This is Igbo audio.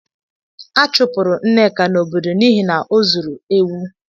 A chụpụrụ Nneka n’obodo n’ihi na o zuru ewu.